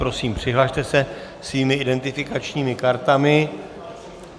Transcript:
Prosím, přihlaste se svými identifikačními kartami.